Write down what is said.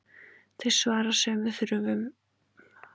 Þau svara sömu þörfum, gegna sama hlutverki, byggjast á sömu forsendum.